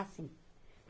Assim.